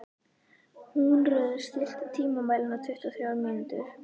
Húnröður, stilltu tímamælinn á tuttugu og þrjár mínútur.